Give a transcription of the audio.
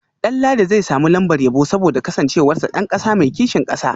Danladi zai samu lambar yabo saboda kasancewarsa dan kasa mai kishin kasa